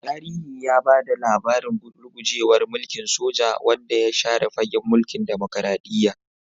Tarihi ya ba da labarin rugujewar mulkin soja, wanda ya share fagen mulkin dimokuradiyya.